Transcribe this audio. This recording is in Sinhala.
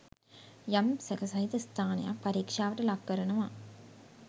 යම් සැකසහිත ස්ථානයක් පරික්ෂාවට ලක් කරනවා.